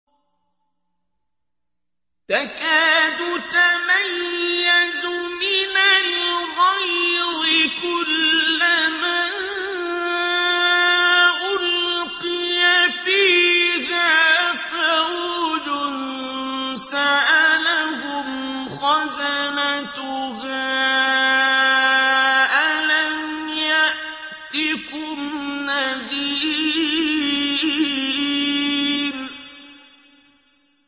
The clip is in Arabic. تَكَادُ تَمَيَّزُ مِنَ الْغَيْظِ ۖ كُلَّمَا أُلْقِيَ فِيهَا فَوْجٌ سَأَلَهُمْ خَزَنَتُهَا أَلَمْ يَأْتِكُمْ نَذِيرٌ